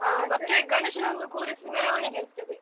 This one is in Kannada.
ಆ ಮತ್ತೆ ಗಣೇಶನನ್ನ ಕೂರಿಸಿ ಮೆರವಣಿಗೆ ಇರ್ತದೆ.